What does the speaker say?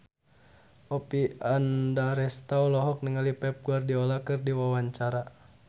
Oppie Andaresta olohok ningali Pep Guardiola keur diwawancara